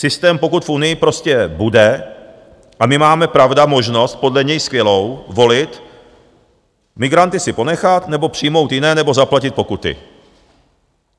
Systém, pokud v Unii prostě bude - a my máme, pravda, možnost podle něj skvělou, volit - migranty si ponechat, nebo přijmout jiné, nebo zaplatit pokuty.